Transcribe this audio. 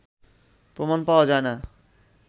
প্রমাণ পাওয়া যায় না